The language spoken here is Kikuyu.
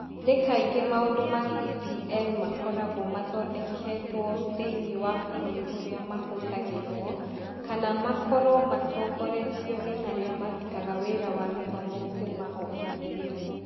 Nĩ kaingĩ maũndũ ma DPL makoragwo mathondeketwo thĩinĩ wa bũrũri ũrĩa mahũthagĩrũo kana makorũo matongoretio nĩ arĩa marutaga wĩra wa gĩthomo kuuma o kĩambĩrĩria.